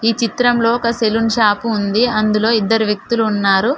ఈ చిత్రంలో ఒక సెలూన్ షాపు ఉంది అందులో ఇద్దరు వ్యక్తులు ఉన్నారు.